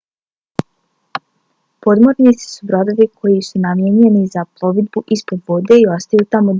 podmornice su brodovi koji su namijenjeni za plovidbu ispod vode i ostaju tamo duži vremenski period